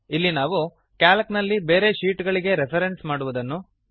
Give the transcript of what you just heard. ಇಲ್ಲಿ ನಾವು ಕ್ಯಾಲ್ಕ್ ನಲ್ಲಿ ಬೇರೆ ಶೀಟ್ ಗಳಿಗೆ ರೆಫ್ರೆನ್ಸ್ ಮಾಡುವುದನ್ನು